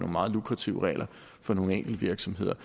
meget lukrative regler for nogle enkelte virksomheder